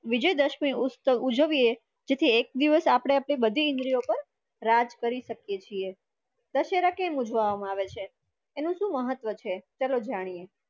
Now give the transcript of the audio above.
વિજયદશમી ઉત્સવ ઉજવ્યે જેથી એક દિવસ અપડે અપડી બધી ઇન્દ્રિયો પર રાજ કરી સકયે છીયે. દશેરા કેમ ઉજવવામા આવે છે? અનુ સુ મહત્વ છે ચાલો જાણીએ.